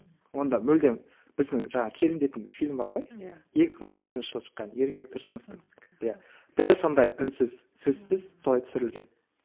онда мүлдем біздің жаңағы келін дейтін фильм бар ғой екі мың он екінші жылы шыққан ермек тұрсыновтың иә дәл сондай үнсіз сөзсіз солай түсірілген